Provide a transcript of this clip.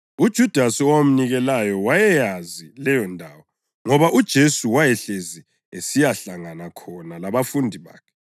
UJudasi owamnikelayo wayeyazi leyondawo ngoba uJesu wayehlezi esiyahlangana khona labafundi bakhe.